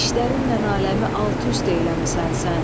İşlərinlə aləmi alt-üst eləmisən sən.